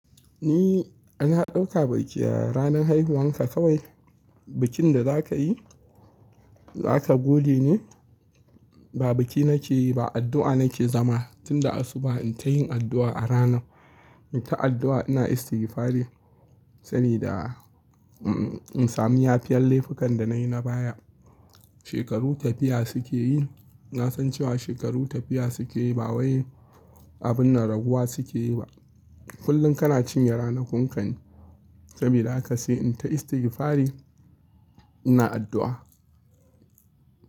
Ni na dauka biki ranar haihuwanka kawai bikin da za ka yi za ka gode ne? Ba biki nake yi ba addu'a nake zama. Tun da asuba in ta yin addu'a a rana in ta addu'a ina istirfari sani da in sami yafiyan laifukan da nayi na baya. Shekaru tafiya suke yi, na san cewa shekaru tafiya suke yi ba wai abun na raguwa suke yi ba. Kullum kana cinye ranakunka ne, sabida ha ka sai in ta istirfari ina addu'a.